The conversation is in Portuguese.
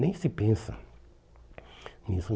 Nem se pensa nisso.